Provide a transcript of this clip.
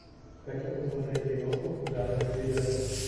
хочу посмотреть киношку в жанре триллер